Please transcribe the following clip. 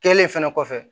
Kɛlen fɛnɛ kɔfɛ